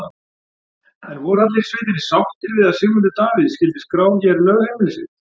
En voru allir í sveitinni sáttir við að Sigmundur Davíð skyldi skrá hér lögheimili sitt?